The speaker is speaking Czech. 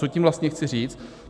Co tím vlastně chci říci?